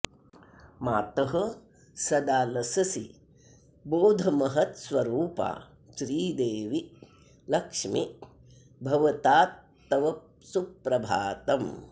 मातः सदा लससि बोधमहत्स्वरूपा श्रीदेवि लक्ष्मि भवतात्तव सुप्रभातम्